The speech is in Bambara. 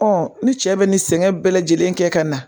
ni cɛ bɛ nin sɛgɛn bɛɛ lajɛlen kɛ ka na